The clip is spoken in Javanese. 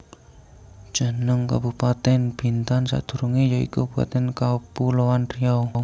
Jeneng kabupatèn Bintan sadurungé ya iku Kabupatèn Kapuloan Riau